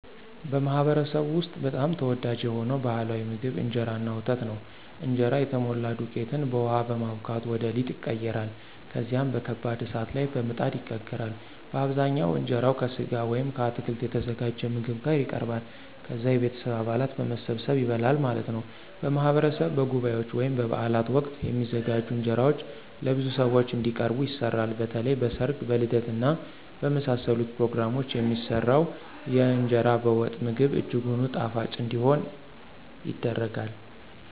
በማኅበረሰብዎ ውስጥ በጣም ተወዳጅ የሆነው ባሕላዊ ምግብ እንጀራ እና ወተት ነው። እንጀራ የተሞላ ዱቄትን በውሃ በማቡካት ወደ ሊጥ ይቀየራል። ከዚያም በከባድ እሳት ላይ በምጣድ ይጋገራል። በአብዛኛው እንጀራው ከሥጋ ወይም ከአትክልት የተዘጋጀ ምግብ ጋር ይቀርባል። ከዛ የቤተሰብ አባላት በመሰባሰብ ይበላል ማለት ነው። በማህበረሰብ በጉባኤዎች ወይም በበዓላት ወቅት የሚዘጋጁ እንጀራዎች ለብዙ ሰዎች እንዲቀርቡ ይሰራሉ። በተለይም በ ሰርግ ,በልደት እና በመሳሰሉት ፕሮግራሞች የሚሰራው የእንገራ በወጥ ምግብ እጅጉን ጣፋጭ እንዲሆን ይደረጋል።